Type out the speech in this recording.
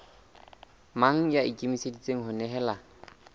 mang ya ikemiseditseng ho nehelana